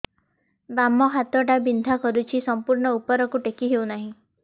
ବାମ ହାତ ଟା ବିନ୍ଧା କରୁଛି ସମ୍ପୂର୍ଣ ଉପରକୁ ଟେକି ହୋଉନାହିଁ